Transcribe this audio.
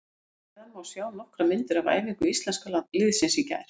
Hér að neðan má sjá nokkrar myndir af æfingu Íslenska liðsins í gær.